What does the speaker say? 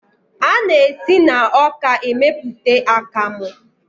A na-esi na ọka emeputa akamu.